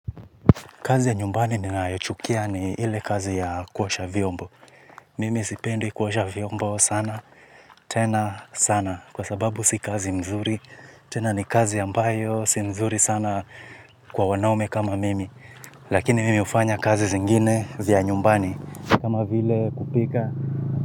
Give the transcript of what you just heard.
Kazi ya nyumbani ninayochukia ni ile kazi ya kuosha vyombo. Mimi sipendi kuosha vyombo sana, tena sana. Kwa sababu si kazi mzuri, tena ni kazi ambayo, si mzuri sana kwa wanaume kama mimi. Lakini mimi hufanya kazi zingine vya nyumbani, kama vile kupika.